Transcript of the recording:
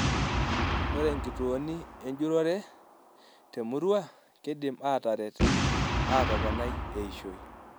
Ore nkituoni enjurore temurua keidim ataret atoponai eishoi.